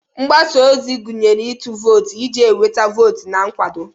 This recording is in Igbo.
Mgbasa ozi gụnyere ịtụ vootu iji nweta votu na nkwado.